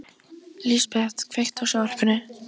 Lisbeth, kveiktu á sjónvarpinu.